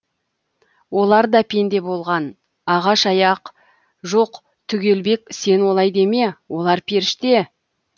олар да пенде болған ағаш аяқ жоқ түгелбек сен олай деме олар періште